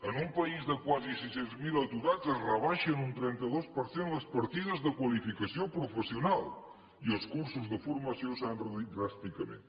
en un país de quasi sis cents mil aturats es rebaixa en un trenta dos per cent les partides de qualificació professional i els cursos de formació s’han reduït dràsticament